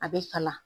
A bɛ kala